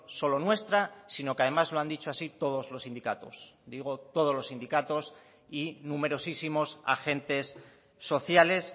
solo nuestra sino que además lo han dicho así todos los sindicatos digo todos los sindicatos y numerosísimos agentes sociales